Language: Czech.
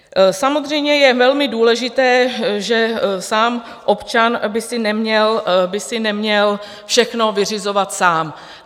Samozřejmě je velmi důležité, že sám občan by si neměl všechno vyřizovat sám.